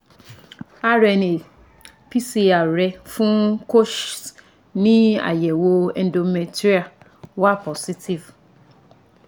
RNA PCR rẹ fun Kochs ni ayẹwo endometrial wa positive